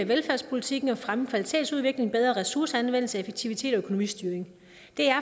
velfærdspolitikken og fremme kvalitetsudviklingen bedre ressourceanvendelse effektivitet og økonomistyring